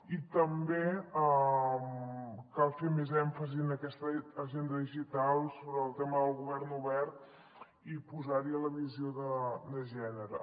i també cal fer més èmfasi en aquesta agenda digital sobre el tema del govern obert i posar hi la visió de gènere